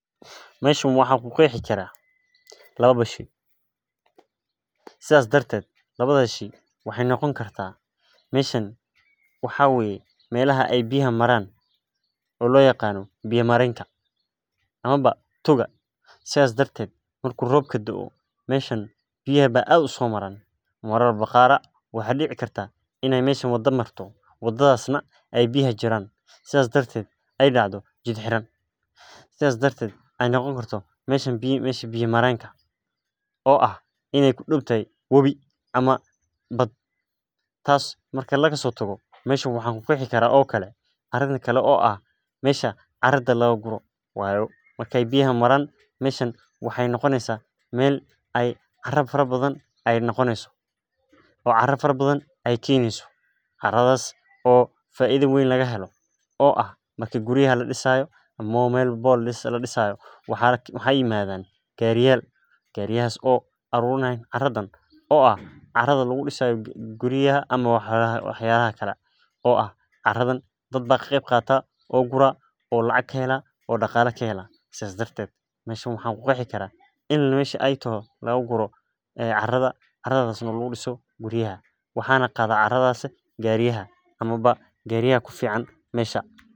Meshan waxan ku qexi karah lawo shey, sidas darted lawadas shey waxay noqon kartah meshan waxaa waye melaha ay biyaha maran oo lo yaqano biya marenka ama ba toga, sidas darted marku robku do'o meshan biyaha ba ad u so maran, marar ba qar ah waxaa dici kartah meshan in ay meshan wada marto, wadadas na ay biyaha jiran sidas darted na ay dacdho jid xiran, sidas darted ay noqon karto meshan meshi biya marenka, oo ah in ay kudowdahay wabi ama bad. Tas marki lagasotago meshan waxan kuqexi karaah oo kale arinka kale oo ah meshan caradha laga guro wayo, marki biyaha maran meshan waxay noqoneysaah mel ay cara fara bathan ay noqoneysaah oo cara fara bathan ay keneyso, caradas oo faida weyn lagahelo oo ah marki guriyaha ladisayo ama ba mel walbaba ladisayo, waxaa yimadan gariyal, gariyahas oo arurinayan caradhan oo ah caradha lagudisayo guriyaha ama wax yalaha kale, oo ah caradan dad ba ka qeyb qatah oo guraah oo lacag ka helaah oo daqala kahelaah, sas darted meshan waxaan kuqexi karaah in meshi ay taho lagaguro carada, caradas oo lagudiso guriyaha, waxa na qadah caradas gariyaha ama ba gariyaha kufican mesha.